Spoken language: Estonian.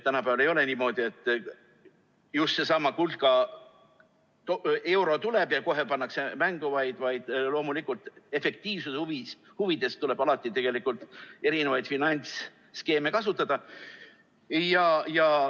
Tänapäeval ei ole niimoodi, et seesama kulka euro tuleb ja kohe pannakse mängu, vaid loomulikult tuleb efektiivsuse huvides alati erinevaid finantsskeeme kasutada.